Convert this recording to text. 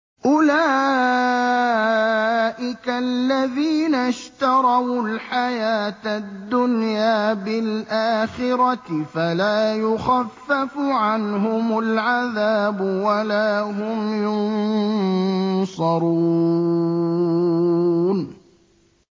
أُولَٰئِكَ الَّذِينَ اشْتَرَوُا الْحَيَاةَ الدُّنْيَا بِالْآخِرَةِ ۖ فَلَا يُخَفَّفُ عَنْهُمُ الْعَذَابُ وَلَا هُمْ يُنصَرُونَ